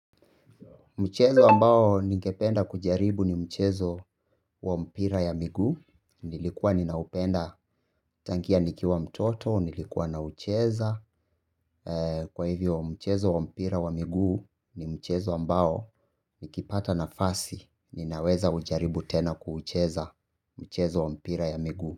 Mchezo ambao ningependa kujaribu ni mchezo wa mpira ya miguu. Nilikuwa ninaupenda tangia nikiwa mtoto, nilikuwa naucheza. Kwa hivyo mchezo wa mpira wa miguu ni mchezo ambao nikipata nafasi. Ninaweza kujaribu tena kucheza mchezo wa mpira ya miguu.